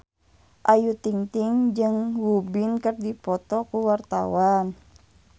Ayu Ting-ting jeung Won Bin keur dipoto ku wartawan